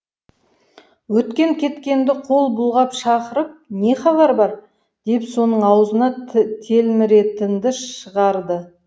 өткен кеткенді қол бұлғап шақырып не хабар бар деп соның аузына телміретінді шығарды